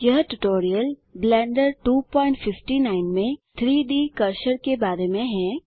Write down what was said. यह tutorial Blender 259 में 3डी कर्सर के बारे में है